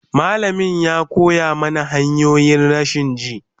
malamain ya ko ya mana criminal procedure